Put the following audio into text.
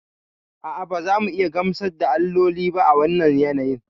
A'a, ba za mu iya gamsar da alloli ba a wannan yanayin.